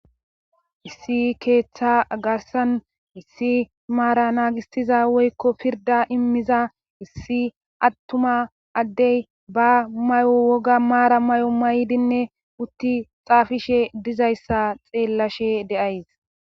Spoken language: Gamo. Issi keetha garssan issi maara naagissiza woykko pirdda immiza issi attuma addey ba mayo woga maara mayo mayidinne utti xaafishe dizayssa xeellashe de7ays.